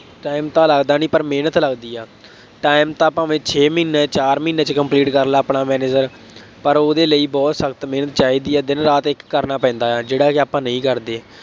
time ਤਾਂ ਲੱਗਦਾ ਨਹੀਂ ਪਰ ਮਿਹਨਤ ਲੱਗਦੀ ਹੈ। time ਤਾਂ ਭਾਵੇਂ ਛੇ ਮਹੀਨੇ, ਚਾਰ ਮਹੀਂਨੇ ਵਿੱਚ complete ਕਰ ਲਾ ਆਪਣਾ manager ਪਰ ਉਹਦੇ ਲਈ ਬਹੁਤ ਸਖਤ ਮਿਹਨਤ ਚਾਹੀਦੀ ਹੈ, ਦਿਨ ਰਾਤ ਇੱਕ ਕਰਨਾ ਪੈਂਦਾ ਹੈ। ਜਿਹੜਾਂ ਕਿ ਆਪਾਂ ਨਹੀਂ ਕਰਦੇ।